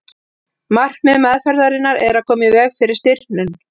markmið meðferðarinnar er að koma í veg fyrir stirðnun